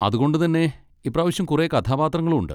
അതുകൊണ്ട് തന്നെ ഇപ്പ്രാവശ്യം കുറെ കഥാപാത്രങ്ങളും ഉണ്ട്.